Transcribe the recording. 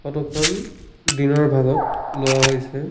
Photo খন দিনৰ ভাগত লোৱা হৈছে।